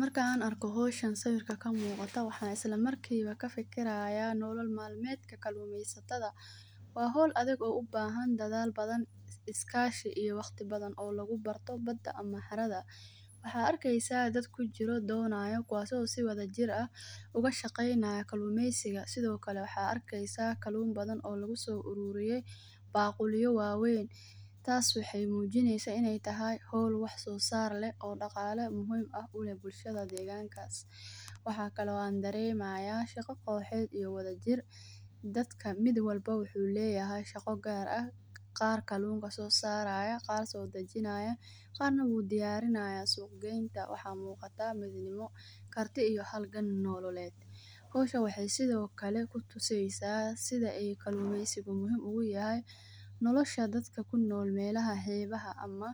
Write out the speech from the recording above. Markaan an arko hawshan sawirka ka muqata waxa islamarkiba kafikirayaa nolool malmeetka kalumasatadha. Wa hawl adag oo ubahan dadhaal badhan iskashi iyo waqti badan oo luga barto bada ama xaradha. Waxa arkaysa daad kujiro doonayo kuwaso si wadajiraha uga shaqeynayo kalumaysiga sidhokale waxa arkaysa kaluum badan oo lugu so aruriye baqulyo wa weyn taas waxay mujinaysa inay tahay hawl wax so saar leeh oo daqala muhiim ah kuleh bulshada degankas. Waxkale aan daremaya shaqo koxyeed iyo wadajiir dadka mid walba wuxu layahay shaqo gaar aah; qaar kaluum sosarsaya kaaso hijinaya qaar wuu diyarinaya sug geynta waxa muqata muhimu karta iyo halgan nololeed. Hawshan waxa sidho kale kutusaysaa sidha ay kalumaysi u muhiim ugu yahay nolosha dadka kunool meelaha xibaha ama